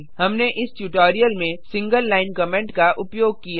हमने इस ट्यूटोरियल में सिंगल लाइन कमेंट का उपयोग किया